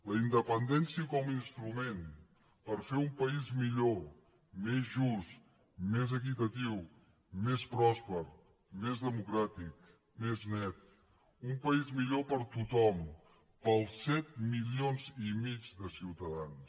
la independència com a instrument per fer un país millor més just més equitatiu més pròsper més democràtic més net un país millor per a tothom per als set milions i mig de ciutadans